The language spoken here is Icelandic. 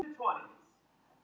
Fólk heillaðist af honum.